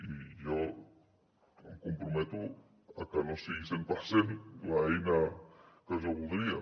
i jo em comprometo a que no sigui cent per cent l’eina que jo voldria